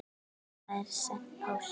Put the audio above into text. Hafa þær sent póst?